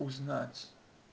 узнать